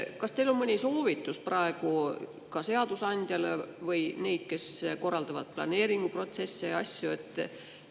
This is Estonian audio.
Kas teil on selle kohta anda mõni soovitus seadusandjale või neile, kes korraldavad planeeringuprotsesse ja asju?